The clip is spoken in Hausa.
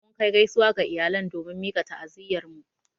Mun Kai gaisuwa ga iyalan domin mika ta'aziyyar mu.